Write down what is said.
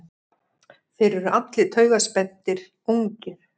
Þeir eru allir taugaspenntir, ungir.